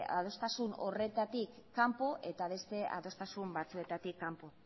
adostasun horretatik kanpo eta beste adostasun batzuetatik kanpo